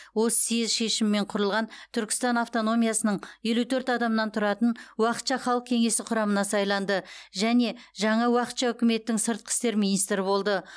осы съезд шешімімен құрылған түркістан автономиясының елу төрт адамнан тұратын уақытша халық кеңесі құрамына сайланды және жаңа уақытша үкіметтің сыртқы істер министрі болды